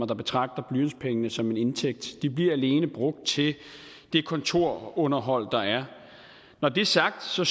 der betragter blantspengene som en indtægt de bliver alene brugt til det kontorunderhold der er når det er sagt så